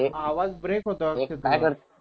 आवाज ब्रेक होतोय अक्षय तुझा